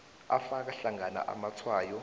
afaka hlangana amatshwayo